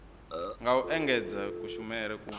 nga u engedzedza kushumele u